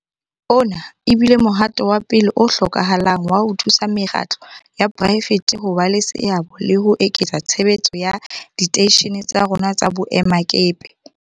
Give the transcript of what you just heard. Ona e bile mohato wa pele o hlokahalang wa ho thusa mekgatlo ya poraefete ho ba le seabo le ho eketsa tshebetso ya diteishene tsa rona tsa boemakepe.